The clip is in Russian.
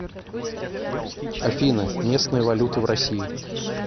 афина местная валюта в россии